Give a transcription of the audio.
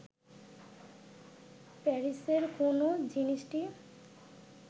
প্যারিসের কোন জিনিসটি